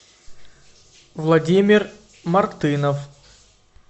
владимир мартынов